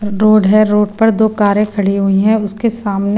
road है road पर दो कारें खड़ी हुई हैं उसके सामने--